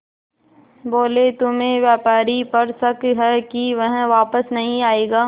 बोले तुम्हें व्यापारी पर शक है कि वह वापस नहीं आएगा